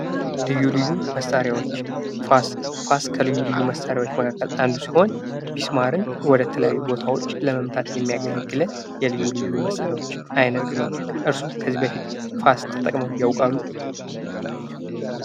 ልዩ ልዩ መሳሪያዎች ። ፋስ ፡ ፋስ ከልዩ ልዩ መሳሪዎች መካከል አንዱ ሲሆን ሚስማርን ወደ ተለያዩ ቦታዎች ለመምታት የሚያገለግለን የልዩ ልዩ መሳሪያዎች አይነት ነው ። እርሶ ከዚህ በፊት ፋስ ተጠቅመው ያውቃሉ?